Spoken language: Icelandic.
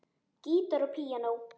Gítar og píanó.